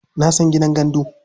Na san gidan gandu.